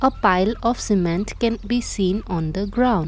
Payal of cement can be seen on the ground.